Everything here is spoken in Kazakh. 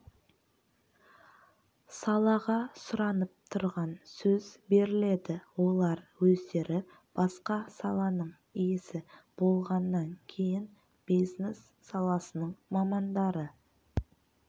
салаға сұранып тұрған сөз беріледі олар өздері басқа саланың иесі болғаннан кейін бизнес саласының мамандары